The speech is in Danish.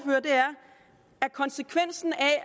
at konsekvensen af